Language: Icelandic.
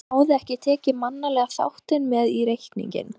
En hann hafði ekki tekið mannlega þáttinn með í reikninginn.